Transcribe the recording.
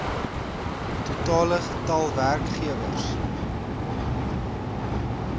totale getal werkgewers